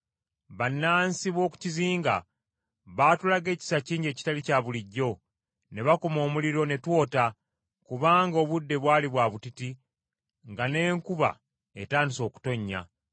Bannansi b’oku kizinga baatulaga ekisa kingi ekitali kya bulijjo, ne bakuma omuliro ne twota, kubanga obudde bwali bwa butiti nga n’enkuba etandise okutonnya.